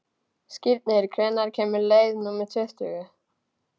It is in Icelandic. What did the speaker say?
Skírnir, hvenær kemur leið númer tuttugu?